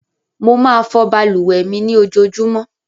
Mo máa fọ balùwẹ̀ mi ní ojoojúmọ́.